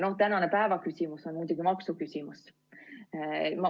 Tänane päevaküsimus on muidugi maksuküsimus.